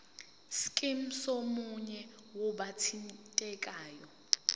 scheme somunye wabathintekayo